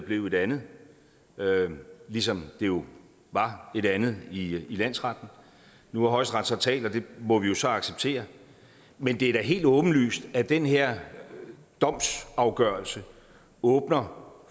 blev et andet ligesom det jo var et andet i landsretten nu har højesteret så talt og det må vi jo så acceptere men det er da helt åbenlyst at den her domsafgørelse åbner